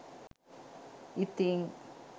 ඉතිං?